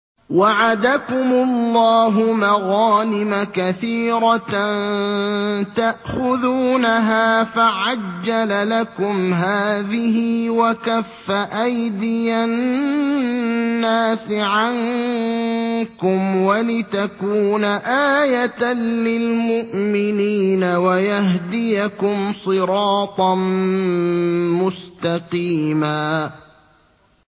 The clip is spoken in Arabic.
وَعَدَكُمُ اللَّهُ مَغَانِمَ كَثِيرَةً تَأْخُذُونَهَا فَعَجَّلَ لَكُمْ هَٰذِهِ وَكَفَّ أَيْدِيَ النَّاسِ عَنكُمْ وَلِتَكُونَ آيَةً لِّلْمُؤْمِنِينَ وَيَهْدِيَكُمْ صِرَاطًا مُّسْتَقِيمًا